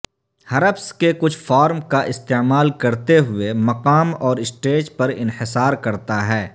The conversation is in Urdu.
ہرپس کے کچھ فارم کا استعمال کرتے ہوئے مقام اور اسٹیج پر انحصار کرتا ہے